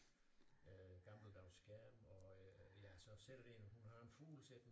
Øh gammeldags skærm og øh ja så sidder der en hun har en fugl siddende